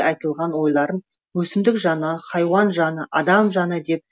айтылған ойларын өсімдік жаны хайуан жаны адам жаны деп